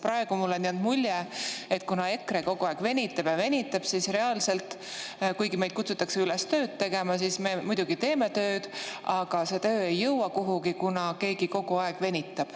Praegu on mulle jäänud mulje, et kuna EKRE kogu aeg venitab ja venitab, siis reaalselt, kuigi meid kutsutakse üles tööd tegema – me muidugi teeme tööd –, see töö ei jõua kuhugi, kuna keegi kogu aeg venitab.